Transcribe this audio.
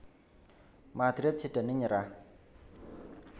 Madrid sidané nyerah